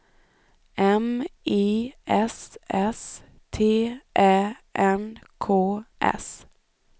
M I S S T Ä N K S